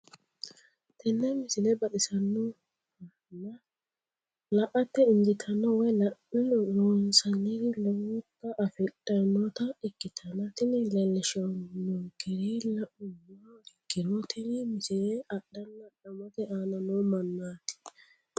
tenne misile baxisannonna la"ate injiitanno woy la'ne ronsannire lowote afidhinota ikkitanna tini leellishshannonkeri la'nummoha ikkiro tini misile adhanna adhamate aana noo mannaati.